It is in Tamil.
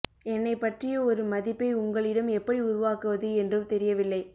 என்னைப் பற்றிய ஒரு மதிப்பை உங்களிடம் எப்படி உருவாக்குவது என்றும் தெரியவில்லை